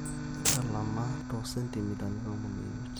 ntalama te15cm